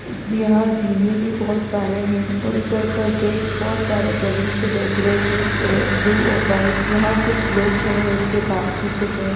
यहाँ जिले भी बहुत सारे हैंऔर इधर का गेट बहुत बैलून से डेकोरेट और ये ब्लू और व्हाइट यहाँ कुछ लोग खड़े होके बात भी कर रहे --